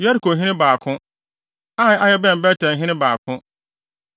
Yerikohene 2 baako 1 Ai a ɛbɛn Bet-El hene 2 baako 1